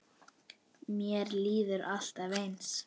Mér líður alltaf eins.